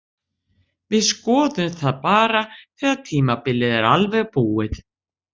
Við skoðum það bara þegar tímabilið er alveg búið.